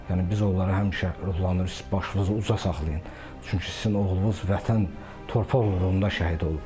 Yəni biz onları həmişə ruhlandırıq ki, başınızı uca saxlayın, çünki sizin oğlunuz Vətən torpaq uğrunda şəhid olub.